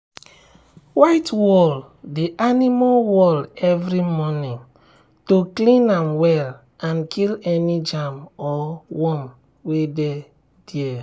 whitewall the animal wall every morning to clean am well and kill any germ or worm wey dey there.